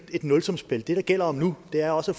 et nulsumsspil det det gælder om nu er også